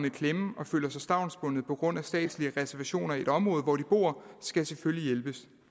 i klemme og føler sig stavnsbundne på grund af statslige reservationer i det område hvor de bor skal selvfølgelig hjælpes